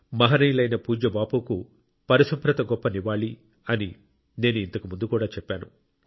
మహనీయులైన పూజ్య బాపుకు పరిశుభ్రత గొప్ప నివాళి అని నేను ఇంతకు ముందు కూడా చెప్పాను